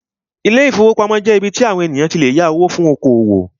Ilé-ìfowópamọ́sí jẹ́ ibí tí àwon ènìyàn tí lè yá owó fún oko-òwò